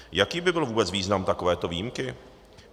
Jaký by byl vůbec význam takovéto výjimky?